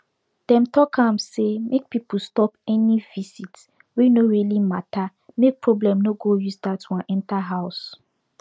dem talk am say make people stop any visit wey no really matter make problem no go use that one enter house